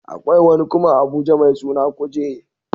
Akwai wani kuma a Abuja mai suna kuje